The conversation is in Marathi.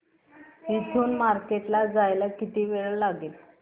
इथून मार्केट ला जायला किती वेळ लागेल